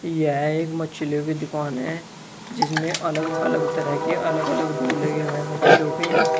यह एक मछलियों की दुकान है जिसमें अलग-अलग तरह के अलग-अलग लगे हुए हैं मछियों के।